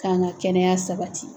Kan ga kɛnɛya sabati